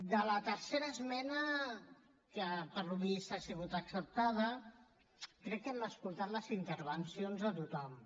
de la tercera esmena que pel que es veu ha sigut acceptada crec que hem escoltat les intervencions de tothom